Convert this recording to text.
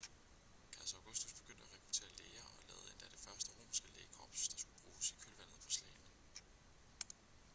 kejser augustus begyndte at rekruttere læger og lavede endda det første romerske lægekorps der skulle bruges i kølvandet på slagene